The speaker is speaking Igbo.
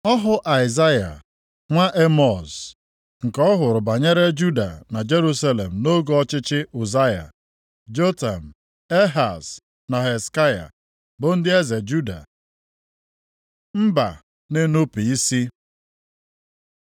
Ọhụ Aịzaya nwa Emọz, nke ọ hụrụ banyere Juda na Jerusalem nʼoge ọchịchị Ụzaya, Jotam, Ehaz na Hezekaya, bụ ndị eze Juda. Mba na-enupu isi